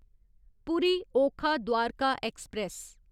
पूरी ओखा द्वारका ऐक्सप्रैस